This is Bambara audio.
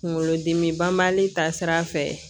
Kunkolodimi banbali ta sira fɛ